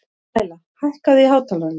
Læla, hækkaðu í hátalaranum.